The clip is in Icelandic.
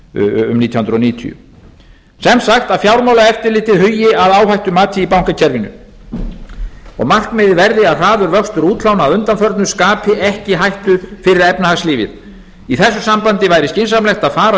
um nítján hundruð níutíu sem sagt fjármálaeftirlitið hugi að áhættumati í bankakerfinu og markmiðið verði að hraður vöxtur útlána að undanförnu skapi ekki hættu fyrir efnahagslífið í þessu sambandi væri skynsamlegt að fara